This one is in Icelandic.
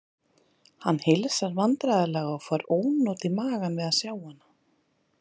Hann heilsar vandræðalega og fær ónot í magann við að sjá hana.